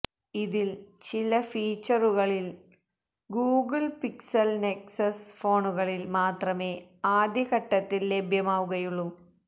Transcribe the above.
ഇതില് ചില ഫീച്ചറുകള് ഗൂഗിള് പിക്സല് നെക്സസ് ഫോണുകളില് മാത്രമേ ആദ്യ ഘട്ടത്തില് ലഭ്യമാവുകയുള്ളൂ